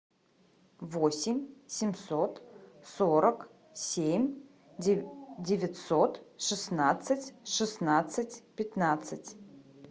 восемь семьсот сорок семь девятьсот шестнадцать шестнадцать пятнадцать